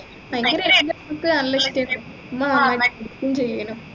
ഭയങ്കര നല്ല education എന്ന നമ്മുക്കും ചെയ്യണം